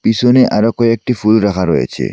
পিছনে আরো কয়েকটি ফুল রাখা রয়েছে।